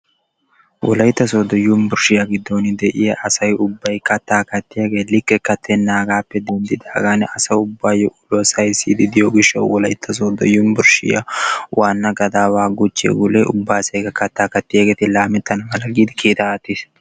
Wolaytta Soodo yunbburshshiya giddon de'iyaa asay ubbay katta kattiyaageeti suure kattena gishshaw Wolaytta Soodo gadawa gule guchche kattaa kattiya asay ubbaykka laametana mala giidi kiitta aattiis.